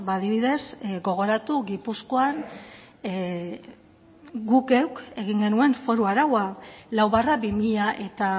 adibidez gogoratu gipuzkoan guk geuk egin genuen foru araua lau barra bi mila